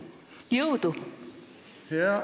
Jõudu!